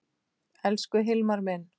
Elsku Hilmar minn.